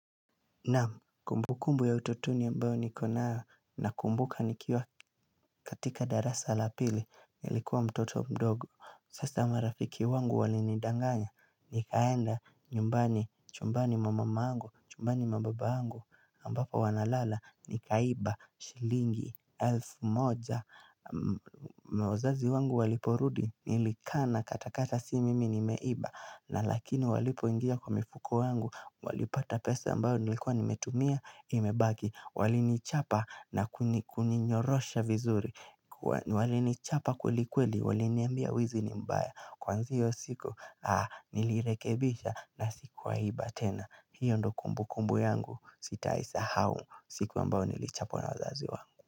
Na kumbukumbu ya utotuni ambayo niko na nakumbuka nikiwa katika darasa la pili nilikuwa mtoto mdogo Sasa marafiki wangu walinidanganya nikaenda nyumbani chumbani mwa mama yangu chumbani na baba yangu ambapo wanalala nikaiba shilingi elfu moja na wazazi wangu waliporudi nilikaa na katakataa si mimi nimeiba na lakini walipo ingia kwa mifuko yangu Walipata pesa ambayo nilikua nimetumia imebaki Walinichapa na kuninyorosha vizuri Walinichapa kwelikweli waliniambia wizi ni mbaya Kuanzia siku nilirekebisha na siku wahi iba tena hiyo ndo kumbu kumbu yangu sitaisahau siku ambayo nilichapwa na wazazi wangu.